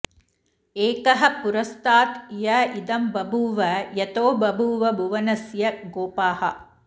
ए॒कः॒ पु॒र॒स्तात् य इदं॑ बभू॒व॒ यतो बभूव भुवन॑स्य गो॒पाः